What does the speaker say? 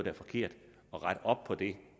er forkert at rette op på det